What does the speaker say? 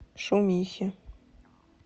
шумихи